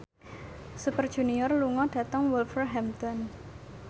Super Junior lunga dhateng Wolverhampton